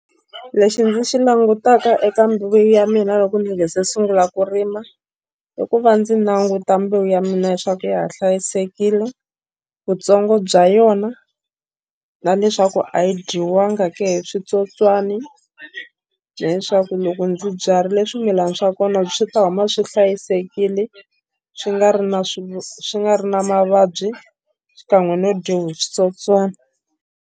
Lexi ndzi xi langutaka eka mbewu ya mina loko ndzi sungula ku rima i ku va ndzi languta mbewu ya mina leswaku ya ha hlayisekile vutsongo bya yona na leswaku a yi dyiwanga ke hi switsotswani leswaku loko ndzi byarile swimilana swa kona swi ta huma swi hlayisekile swi nga ri na swi nga ri na mavabyi xikan'we no dyiwa hi switsotswani.